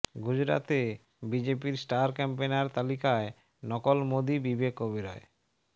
গুজরাতে বিজেপির star campaigner তালিকায় নকল মোদী বিবেক ওবেরয়